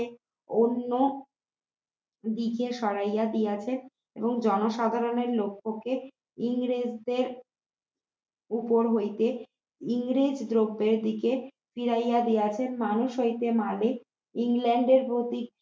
এবং জনসাধারণের লক্ষ্যকে ইংরেজদের উপর হইতে ইংরেজ দ্রব্যাদি কে ফিরাইয়া দিয়েছেন মানুষ হইতে মালিক ইংল্যান্ডের প্রতি